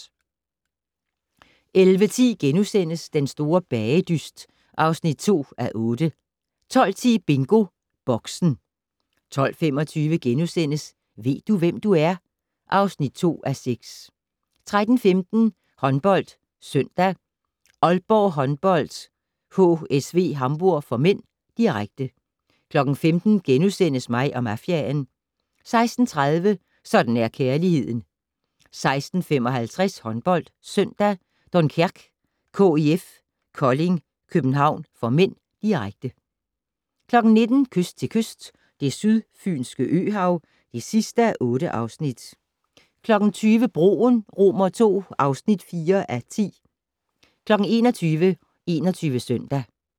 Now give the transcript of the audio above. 11:10: Den store bagedyst (2:8)* 12:10: BingoBoxen 12:25: Ved du, hvem du er? (2:6)* 13:15: HåndboldSøndag: Aalborg Håndbold-HSV Hamburg (m), direkte 15:00: Mig og mafiaen * 16:30: Sådan er kærligheden 16:55: HåndboldSøndag: Dunkerque-KIF Kolding København (m), direkte 19:00: Kyst til kyst - Det sydfynske øhav (8:8) 20:00: Broen II (4:10) 21:00: 21 Søndag